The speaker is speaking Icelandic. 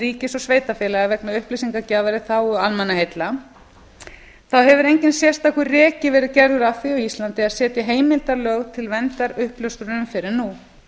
ríkis og sveitarfélaga vegna upplýsingagjafar í þágu almannaheilla þá hefur enginn sérstakur reki verið gerður að því á íslandi að setja heildarlög til verndar uppljóstrurum fyrr en nú